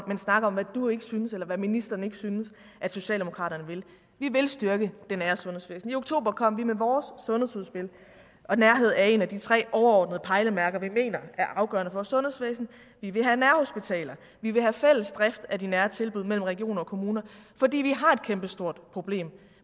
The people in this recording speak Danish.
men snakke om hvad du ikke synes eller hvad ministeren ikke synes socialdemokratiet vil vi vil styrke det nære sundhedsvæsen i oktober kom vi med vores sundhedsudspil og nærhed er et af de tre overordnede pejlemærker som vi mener er afgørende for vores sundhedsvæsen vi vil have nærhospitaler og vi vil have fælles drift af de nære tilbud i regioner og kommuner fordi vi har et kæmpestort problem